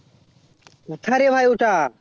কোথা রে ভাই ওটা